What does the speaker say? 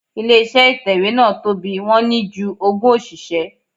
Ilé iṣẹ́ ìtẹ̀wẹ́ náà tóbi, wọ́n ní ju ogún òṣìṣẹ́.